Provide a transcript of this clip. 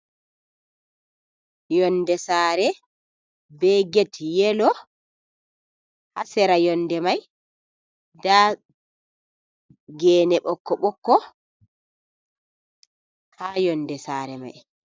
Yonde sare be get yelo ,hasera yonde mai da gene ɓoko boko ha yonde sare mai.